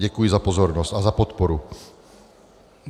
Děkuji za pozornost a za podporu.